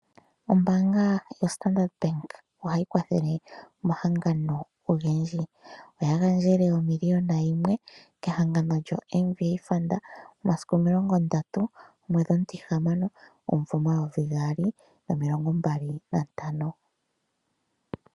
Ombaanga yoStandard Bank oyili hayi kwathele omahangano ogendji. Oya gandjele omiliona yimwe kehangano lyoMVA FUND momasiku omilongondatu gomwedhi omutihamano omumvo omayovi gaali nomilongombali nantano.